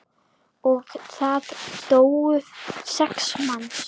Og það dóu sex manns.